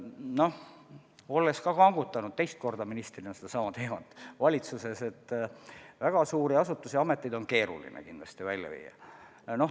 Noh, olles ministrina seda teemat teist korda valitsuses kangutanud, ma tean, et väga suuri asutusi on kindlasti keeruline välja viia.